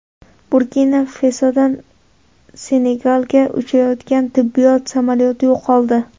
Burkina-Fasodan Senegalga uchayotgan tibbiyot samolyoti yo‘qoldi.